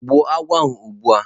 Gbuo agwo ahu ozugbo